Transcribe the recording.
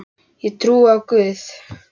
Ég trúi á Guð!